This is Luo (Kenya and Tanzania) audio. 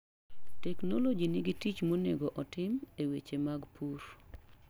Teknoloji nigi tich monego otim e weche mag pur.